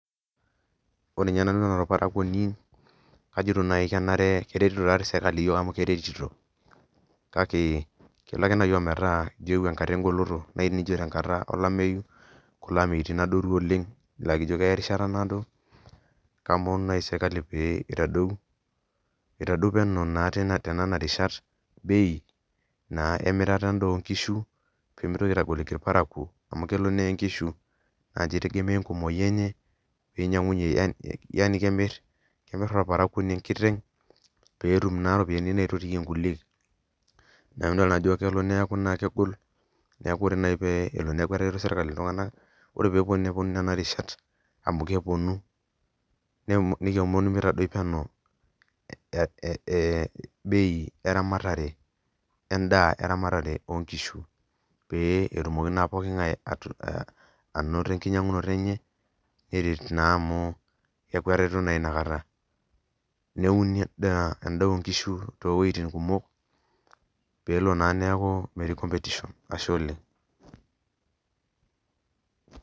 Ore ninye nanu naa olparakuoni kajito naaji kenare keretito taa doi sirkali iyiiook amu keretito, kake kelo ake naaji ometaa eewui enkata egoloto. naaji nijo te nkata olameyu, kulo ameitin adoru oleng, laa ijo keya erishata naado. itadou peno naa tenena rishat bei naa emirata edaa oo kishu. pee mitokinaitagoliki ilparakuo, amu kelo neye nkishu naa ninche itegemea enkumoi enye, pee inyiang'unye, yaani kemir orparakuoni enkiteng' pee etum naa iropiyiani neitotiyie nkulie, neeku idol naajo kelo neeku naa kegol, neeku ore naaji pee elo neeku etareto sirkali iltunganak. ore pee epuo nepuonu Nena rishat amu kepuonu, nikiomon mitadoi bei eramatare edaa eramatare ok nkishu pee etumoki naa pooki ng'ae anoto enkinyiang'unoto enye. neret naa amu keeku etareto naa Ina kata, neuni edaa oo nkishu too wuitin kumok pee elo naa neeku metii competition.